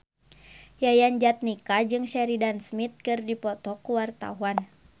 Yayan Jatnika jeung Sheridan Smith keur dipoto ku wartawan